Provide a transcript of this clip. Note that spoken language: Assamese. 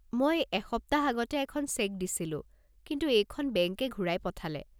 মই এসপ্তাহ আগতে এখন চেক দিছিলোঁ, কিন্তু এইখন বেংকে ঘূৰাই পঠালে।